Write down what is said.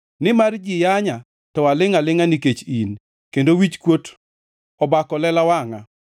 Nimar ji yanya to alingʼ alingʼa nikech in, kendo wichkuot obako lela wangʼa.